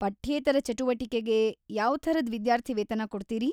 ಪಠ್ಯೇತರ ಚಟುವಟಿಕೆಗೆ ಯಾವ್ಥರದ್ ವಿದ್ಯಾರ್ಥಿವೇತನ ಕೊಡ್ತೀರಿ?